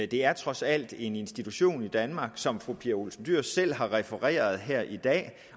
det er trods alt en institution i danmark som fru pia olsen dyhr selv har refereret her i dag